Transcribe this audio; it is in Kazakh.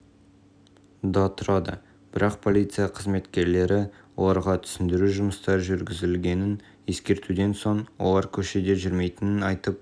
да тұрады бірақ полиция қызметкерлері оларға түсіндіру жұмыстары жүргізілгенін ескертуден соң олар көшеде жүрмейтінін айтып